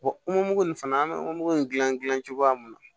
nin fana an bɛ mugu in gilan gilan cogoya min na